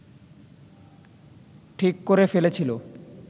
ঠিক করে ফেলেছিল